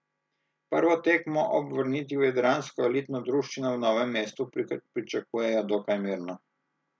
Prvo tekmo ob vrnitvi v jadransko elitno druščino v Novem mestu pričakujejo dokaj mirno.